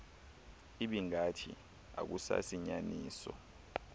ibingathi akusasi inyaniso